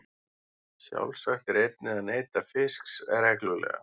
Sjálfsagt er einnig að neyta fisks reglulega.